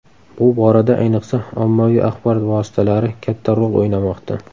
Bu borada ayniqsa, ommaviy axborot vositalari katta rol o‘ynamoqda.